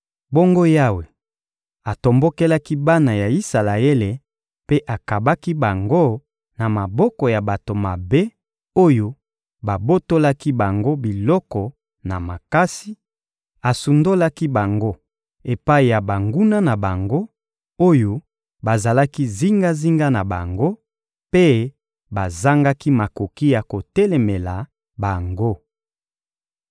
Bongo Yawe atombokelaki bana ya Isalaele mpe akabaki bango na maboko ya bato mabe oyo babotolaki bango biloko na makasi; asundolaki bango epai ya banguna na bango, oyo bazalaki zingazinga na bango, mpe bazangaki makoki ya kotelemela bango.